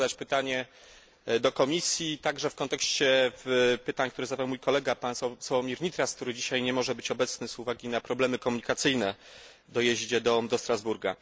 Chciałem zadać pytanie do Komisji także w kontekście pytań, które zadał mój kolega, pan Sławomir Nitras, który dzisiaj nie może być obecny z uwagi na problemy komunikacyjne w dojeździe do Strasburga.